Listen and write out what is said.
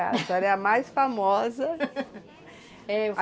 A sua hora é a mais famosa.